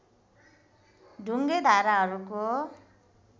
ढुङ्गे धाराहरूको